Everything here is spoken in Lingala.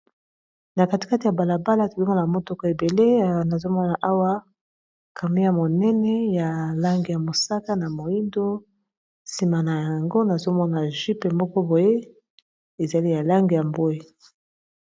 Na katikati ya balabala tozomona motuka ebele nazomona awa camion ya monene ya langi ya mosaka na moyindo nsima na yango nazomona jeep moko boye ezali ya langi ya mbwe.